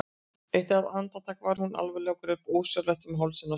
Eitt andartak var hún alvarleg og greip ósjálfrátt um hálsinn á sér.